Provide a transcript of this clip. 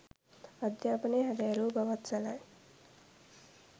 අධ්‍යාපනය හැදෑරූ බවත් සැලයි.